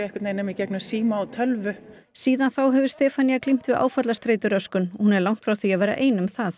nema í gegnum síma og tölvu síðan þá hefur Stefanía glímt við áfallastreituröskun hún er langt frá því að vera ein um það